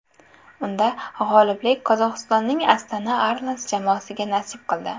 Unda g‘oliblik Qozog‘istonning Astana Arlans jamoasiga nasib qildi.